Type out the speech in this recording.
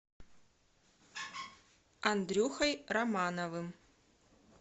андрюхой романовым